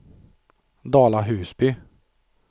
Dala-Husby